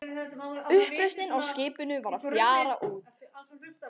Uppreisnin á skipinu var að fjara út.